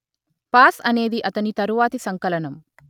pass అనేది అతని తరువాతి సంకలనం